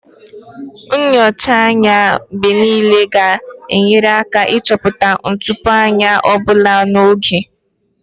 Nyocha anya mgbe niile ga-enyere aka ịchọpụta ntụpọ anya ọ bụla n'oge